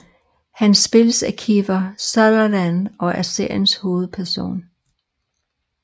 Han spilles af Kiefer Sutherland og er seriens hovedperson